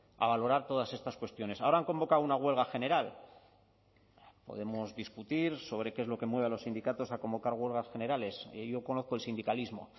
a valorar todas estas cuestiones ahora han convocado una huelga general podemos discutir sobre qué es lo que mueve a los sindicatos a convocar huelgas generales y yo conozco el sindicalismo